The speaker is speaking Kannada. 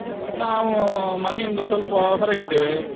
ನಾವು ಮನೆಯಿಂದ ಸ್ವಲ್ಪ ಹೊರಗಿದ್ದೇವೆ.